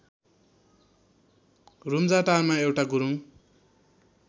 रुम्जाटारमा एउटा गुरुङ